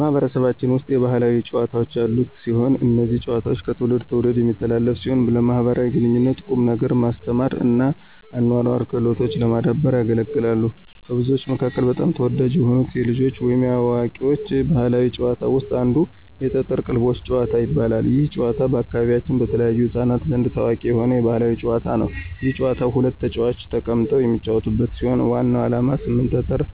ማህበረሰባችን ብዙ የባህላዊ ጨዋታዎች ያሉት ሲሆን። እነዚህ ጨዋታዎች ከትውልድ ትውልድ የሚተላለፉ ሲሆን ለማኅበራዊ ግንኙነት፣ ቁም ነገር ማስተማር እና አኗኗራዊ ክህሎቶችን ለማዳበር ያገለግላሉ። ከብዙዎቹ መካከል በጣም ተወዳጅ የሆኑት የልጆች ወይም የአዋቂዎች ባህላዊ ጨዋታዎች ውስጥ አንዱ የጠጠር ቅልቦሽ ጭዋታ ይባላል። ይህ ጨዋታ በአካባቢያችን በተለይም በሕፃናት ዘንድ ታዋቂ የሆነ የባህል ጨዋታ ነው። ይህ ጨዋታ ሁለት ተጫዋቾች ተቀምጠው የሚጫወቱት ሲሆን ዋናው ዓላማ 8 ጠጠር